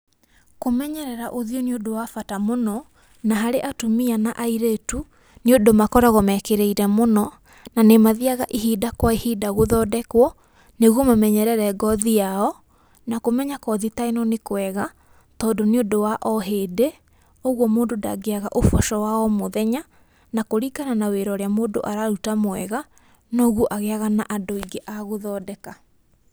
Kũmenyerera ũthiũ nĩ ũndũ wa bata mũno, na harĩ atumia na airĩtu, nĩ ũndũ makoragwo meekĩrĩire mũno, na nĩmathiaga ihinda kwa ihinda gũthondekwo nĩguo mamenyerere ngothi yao, na kũmenya kothi ta ĩno nĩ kwega, tondũ nĩũndũ wa o hĩndĩ. Ũguo mũndũ ndangĩaga ũboco wa o mũthenya, na kũringana na wira ũrĩa mũndũ araruta mwega, no guo agĩaga na andũ aingĩ agũthondeka.